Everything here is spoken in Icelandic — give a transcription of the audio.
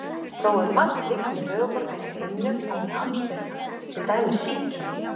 Þó er margt líkt með höfuðborginni á himnum og með Amsterdam, til dæmis síkin.